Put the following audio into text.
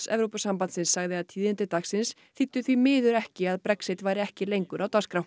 Evrópusambandsins sagði að tíðindi dagsins þýddu því miður ekki að Brexit væri ekki lengur á dagskrá